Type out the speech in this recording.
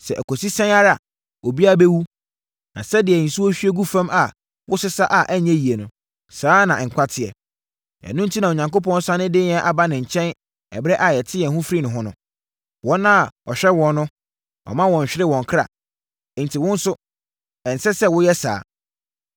Sɛ ɛkɔsi sɛn ara, obiara bɛwu. Na sɛdeɛ nsuo hwie gu fam a wosesa a ɛnyɛ yie no, saa ara na nkwa teɛ. Ɛno enti na Onyankopɔn sane de yɛn ba ne nkyɛn ɛberɛ a yɛate yɛn ho afiri ne ho no. Wɔn a ɔhwɛ wɔn no, ɔmma wɔnnhwere wɔn kra; enti wo nso, ɛnsɛ sɛ woyɛ saa.